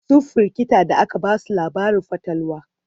sun firgita da aka Basu labarin fatalwa